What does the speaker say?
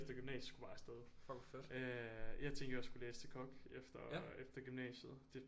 Gymnasiet skulle bare afsted jeg tænkte jeg skulle læse til kok efter gymnasiet